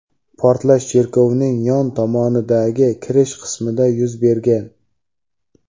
Portlash chervokning yon tomonidagi kirish qismida yuz bergan.